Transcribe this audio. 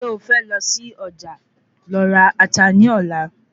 Se o fẹ lọ sí Ọjà lọ ra Ata ní Ọ̀la?